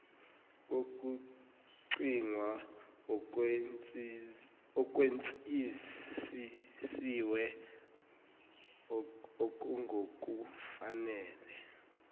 kokucingwa okwenzisisiwe okungokufanele